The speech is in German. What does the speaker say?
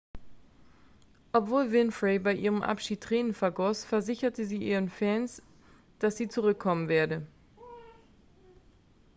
obwohl winfrey bei ihrem abschied tränen vergoss versicherte sie ihren fans dass sie zurückkommen werde